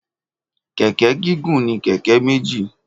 Kẹ̀kẹ́ gígùn ní kẹ̀kẹ́ méjì